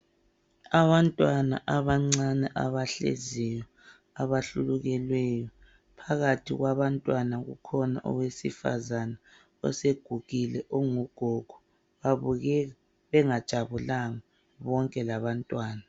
Abantwana abancane abahleziyo abahlulukelweyo. Phakathi kwabantwana kukhona owesifazana osegugile ongugogo babukeka bengajabulanga bonke labantwana.